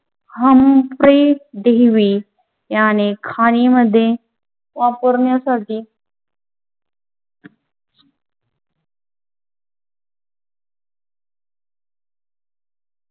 हम्प्रेट David याने खाणीमध्ये वापरण्यासाठी